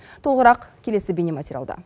толығырақ келесі бейнематериалда